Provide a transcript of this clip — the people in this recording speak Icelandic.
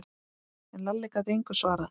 En Lalli gat engu svarað.